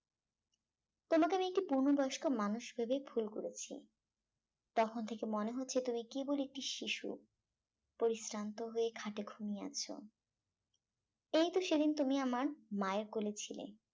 তোমাকে একটি পূর্ণবয়স্ক মানুষ ভেবে ভুল করেছি তখন থেকে মনে হচ্ছে তুমি কেবলি একটি শিশু পরিশ্রান্ত হয়ে খাটে ঘুমিয়ে আছ এই তো সেদিন তুমি আমার মায়ের কোলে ছিলে